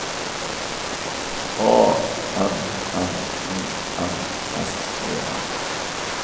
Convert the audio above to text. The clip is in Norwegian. A N N O N S E N